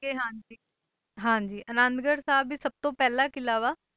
ਕਿ ਹਾਂਜੀ ਹਾਂਜੀ ਆਨੰਦਗੜ੍ਹ ਸਾਹਿਬ ਹੀ ਸਭ ਤੋਂ ਪਹਿਲਾ ਕਿਲ੍ਹਾ ਵਾ,